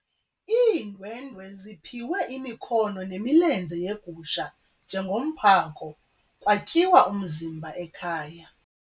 Iindwendwe ziphiwe imikhono nemilenze yegusha njengomphako kwatyiwa umzimba ekhaya.